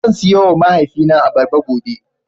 Zan siyowa mahaifina abarba gobe.